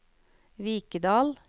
Vikedal